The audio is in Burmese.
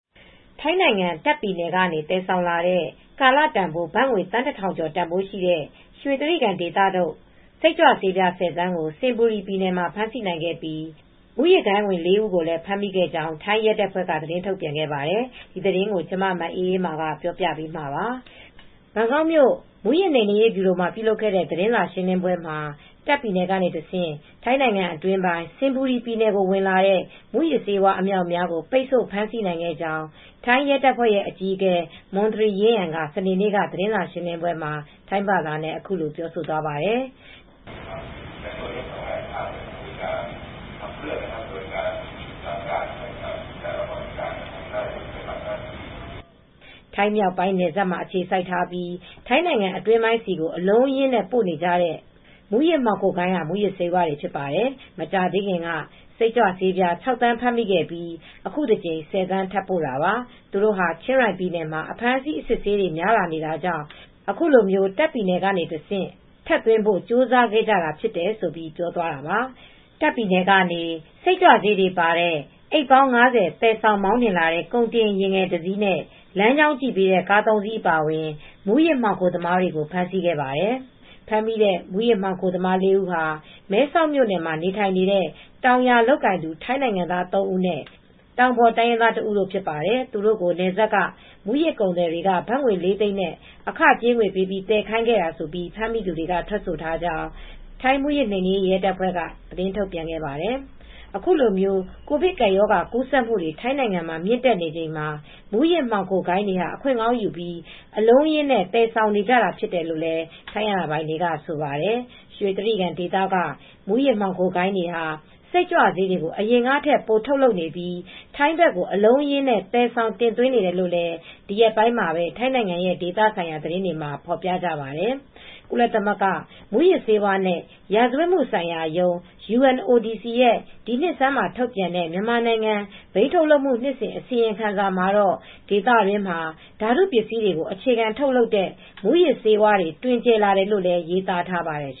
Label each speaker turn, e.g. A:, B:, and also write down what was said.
A: ထိုင်းနိုင်ငံတာ့ခ်ပြည်နယ် ကနေ သယ်ဆောင်လာတဲ့ ကာလတန်ဖိုး ဘတ်ငွေ သန်း ၁,၀၀၀ ကျော်တန်ဖိုးရှိတဲ့ ရွှေကြိဂံဒေသထုတ် စိတ်ကြွဆေးပြား ၁၀ သန်းကို စင်ဘူရီပြည်နယ်မှာ ဖမ်းဆီးနိုင်ခဲ့ပြီး မဲဆောက်ကလာတဲ့ မူးယစ်မှောင်ခိုဂိုဏ်းဝင် ၄ ဦးကို ဖမ်းမိခဲ့ကြောင်း ထိုင်းရဲတပ်ဖွဲ့က သတင်းထုတ်ပြန်ခဲ့ပါတယ်။ ထိုင်းအခြေစိုက် ဗွီအိုအေ သတင်းထောက် မအေးအေးမာ သတင်းပေးပို့ထားပါတယ်။ ဘန်ကောက်မြို့ မူးယစ်နှိမ်နင်းရေး ဗျူရို မှာ ပြုလုပ်ခဲ့တဲ့ သတင်းစာရှင်းလင်းပွဲမှာ တာ့ခ်ပြည်နယ်က တဆင့် ထိုင်းနိုင်ငံ အတွင်းပိုင်း စင်ဘူရီပြည်နယ်ကို ဝင်လာတဲ့ မူးယစ်ဆေးဝါး အမြောက်အမြားပိတ်ဆို့ဖမ်းဆီးနိုင်ခဲ့ကြောင်း ထိုင်းရဲတပ်ဖွဲ့ရဲ့အကြီးအကဲ မွန်သရီ ရင်းယန် က စနေ့နေ့ သတင်းစားရှင်းလင်းပွဲမှာ ထိုင်းဘာသာနဲ့ ပြောသွားပါတယ်။ ထိုင်းမြောက်ပိုင်း နယ်စပ်မှာ အခြေစိုက်ထားပြီး ထိုင်းနိုင်ငံအတွင်းကို အလုံးအရင်းပို့နေကြတဲ့ မူးယစ်မှောင်ခိုဂိုဏ်းက မူးယစ်ဆေးတွေဖြစ်တယ်။ မကြာသေးခင်က စိတ်ကြွဆေးပြား ၆ သန်းဖမ်းမိခဲ့ပြီး အခုတကြိမ် ၁၀ သန်းထပ်ပို့တာပါ။ သူတို့ဟာ ချင်းရိုင်ပြည်နယ်မှာ အဖမ်းဆီးအစစ်ဆေးတွေများလာ နေတာကြောင့် အခုလို တာခ့်ပြည်နယ်ထဲကနေ တဆင့် ထပ်သွင်းဘို့ ကြိုးစားခဲ့တာလို့ ပြောသွားတာပါ။ တာ့ခ်ပြည်နယ်ကနေ စိတ်ကြွဆေး တွေပါတဲ့ အိတ်ပေါင်း ၅၀ သယ်ဆောင် မောင်းနှင်လာတဲ့ ကုန်တင်ယာဉ်ငယ်တစ်စီးနဲ့ လမ်းကြောင်း ကြည့် ပေးတဲ့ ကား၃ စီး အပါအဝင် မူးယစ်မှောင်ခိုသမားတွေကို ဖမ်းဆီးခဲ့ပါတယ်။ ဖမ်းမိတဲ့ မူးယစ်မှောင်ခိုသမား ၄ းဦးဟာ မဲဆောက်မြို့နယ်မှာ နေထိုင်နေကြတဲ့ တောင်ယာလုပ်ကိုင်သူ ထိုင်းနိုင်ငံသားသုံးဦးနဲ့ တောင်ပေါ်တိုင်းရင်းသား တဦးတို့ ဖြစ်ပါတယ်။ သူတို့ကို နယ်စပ်က မူးယစ်ကုန်သည်တွေက ဘတ်ငွေ လေးသိန်းနဲ့ အခကြေးငွေပေးပြီး သယ်ခိုင်းခဲ့တာလို့ဖမ်းမိသူတွေက ထွက်ဆိုထားကြောင်း မူးယစ်နှိမ်နင်းရေး ရဲတပ်ဖွဲ့က ထုတ်ပြန်သွားပါတယ်။ အခုလို ကိုဗစ်ကပ်ရောဂါကူးစက်မူတွေ ထိုင်းမှာမြင့်တက်နေချိန်မှာ မူးယစ်ဂိုဏ်းတွေဟာ အခွင့်ကောင်းယူပြီး အလုံးအရင်းနဲ့ သယ်ဆောင်နေကြတာဖြစ်တယ်လို့ ထိုင်းအာဏာပိုင်တွေကဆိုပါတယ်။ ရွှေကြိဂံဒေသက မူးယစ်မှောင်ဂိုဏ်းတွေဟာ စိတ်ကြွဆေးတွေကို အရင်ကထက် ပိုထုတ်လုပ်နေပြီး ထိုင်းဘက်ကိုအလုံးအရင်း သယ်ဆောင် တင်သွင်းနေတယ်လို့လည်း ဒီရက်ပိုင်းမှာပဲ ထိုင်းနိုင်ငံရဲ့ဒေသဆိုင်ရာသတင်းတွေမှာ ဖေါ်ပြကြပါတယ်။ ကုလသမဂ္ဂ မူးယစ်ဆေးဝါးနဲ့ ရာဇဝတ်မှုဆိုင်ရာရုံး (UNODC) ရဲ့ ဒီနှစ်ဆန်းမှာ ထုတ်ပြန်တဲ့ မြန်မာနိုင်ငံ ဘိန်းထုတ်လုပ်မှု နှစ်စဉ် အစီရင်ခံစာမှာတော့ ဒေသတွင်းမှာ ဓာတုပစ္စည်းတွေကို အခြေခံထုတ်လုပ်တဲ့ မူးယစ်ဆေးဝါးတွေ တွင်ကျယ်လာတယ်လို့လည်း ရေးသားထားပါတယ်